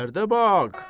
Dərdə bax!